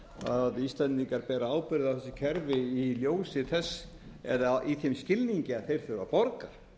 að íslendingar bera ábyrgð á þessu kerfi í þeim skilningi að þeir þurfa að borga